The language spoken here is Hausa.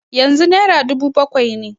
Yanzu naira dubu bakwai ne.